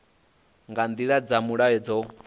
nga nḓila dza mulayo dzo